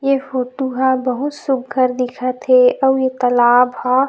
ए photo ह बहुत सुघ्घर दिखत हे अउ ए तालाब हा--